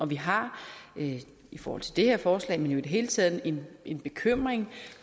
vi har i forhold til det her forslag men i det hele taget en en bekymring